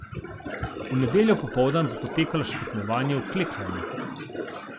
V nedeljo popoldan bo potekalo še tekmovanje v klekljanju.